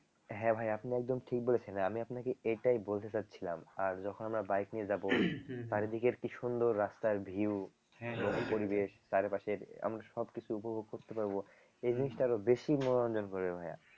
হ্যাঁ ভাইয়া আপনি একদম ঠিক বলেছেন আমি আপনাকে এটাই বলতে চাচ্ছিলাম আর যখন আমরা bike নিয়ে যাব চারিদিকের কি সুন্দর রাস্তার view চারপাশের আমরা সবকিছু উপভোগ করতে পারব এই জিনিসটা আরো বেশি মনোরঞ্জন করবে ভাইয়া